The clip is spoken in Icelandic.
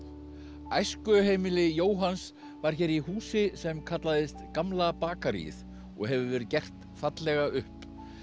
æskuheimili Jóhanns var hér í húsi sem kallaðist Gamla bakaríið og hefur verið gert fallega upp